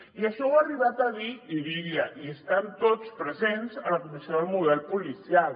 i això ho ha arribat a dir irídia i estan tots presents a la comissió del model policial